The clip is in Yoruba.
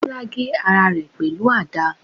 Bola gé ara rẹ pẹlu àda